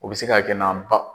O bɛ se ka kɛ n'an ba